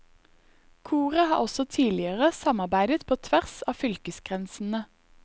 Koret har også tidligere samarbeidet på tvers av fylkesgrensene.